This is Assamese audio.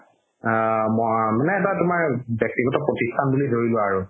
আ ম ব্যাক্তিগত প্ৰতিষ্ঠান বুলি ধৰি লোৱা আৰু